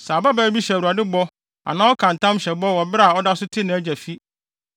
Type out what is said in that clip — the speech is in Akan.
“Sɛ ababaa bi hyɛ Awurade bɔ anaa ɔka ntam hyɛ bɔ bere a ɔda so te nʼagya fi,